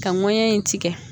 Ka ŋɔɲɛ in tigɛ